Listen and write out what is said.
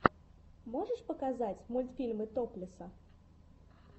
можешь показать мультфильмы топлеса